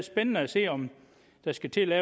spændende at se om man skal til at